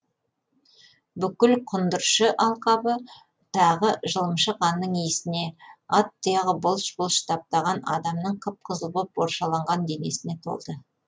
бүкіл құндыршы алқабы тағы жылымшы қанның иісіне ат тұяғы былш былш таптаған адамның қып қызыл боп боршаланған денесіне толды